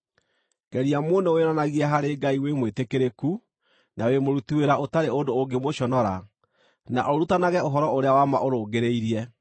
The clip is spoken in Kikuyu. Geria mũno wĩonanagie harĩ Ngai wĩ mwĩtĩkĩrĩku, na wĩ mũruti-wĩra ũtarĩ ũndũ ũngĩmũconora, na ũrutanage ũhoro ũrĩa wa ma ũrũngĩrĩirie.